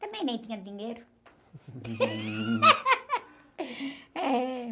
Também nem tinha dinheiro. Eh...